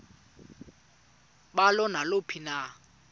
balo naluphi na